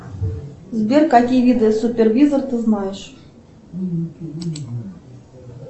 сбер какие виды супервизор ты знаешь